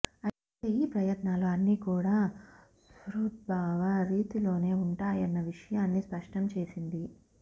అయితే ఈ ప్రయత్నాలు అన్నీకూడా సుహృద్భావ రీతిలోనే ఉంటాయన్న విషయన్నీ స్పష్టం చేసింది